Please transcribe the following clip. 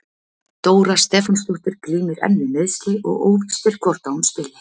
Dóra Stefánsdóttir glímir enn við meiðsli og óvíst er hvort að hún spili.